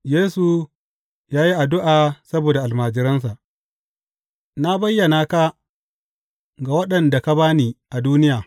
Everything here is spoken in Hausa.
Yesu ya yi addu’a saboda almajiransa Na bayyana ka ga waɗanda ka ba ni a duniya.